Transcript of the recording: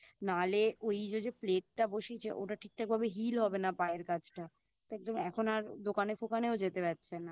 নালে ওইযো যে Plate টা বসিয়েছে ওটা ঠিকঠাক ভাবে Heal হবে না পায়ের কাছটা তো এখন আর দোকানে ফোকানেও যেতে পারছে না